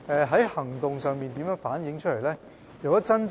在行動上是如何反映的呢？